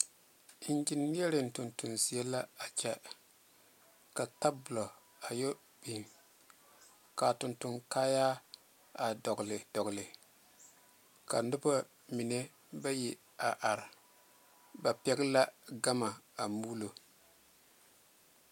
Engyeneɛre tontoŋ zieŋ la a kyɛ ka tabole a yɛ big ka a tontoŋ kaayaare a yɛ be be ka noba mine bayi meŋ are ba pɛle la gama a muuloŋ.